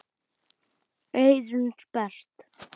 Eyrun sperrt.